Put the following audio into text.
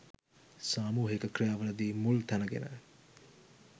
සාමුහික ක්‍රියා වලදී මුල් තැන ගෙන